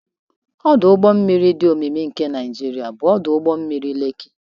Ọdụ ụgbọ mmiri dị omimi nke Naijiria bụ ọdụ ụgbọ mmiri Lekki.